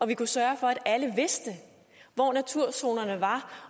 vi kunne sørge for at alle vidste hvor naturzonerne var